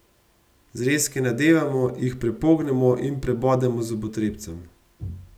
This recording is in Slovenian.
Zrezke nadevamo, jih prepognemo in prebodemo z zobotrebcem.